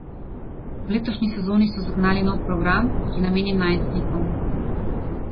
V letošnji sezoni so zagnali nov program, ki je namenjen najstnikom.